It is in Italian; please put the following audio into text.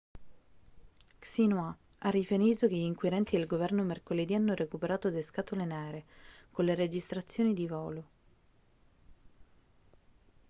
xinhua ha riferito che gli inquirenti del governo mercoledì hanno recuperato due scatole nere' con le registrazioni di volo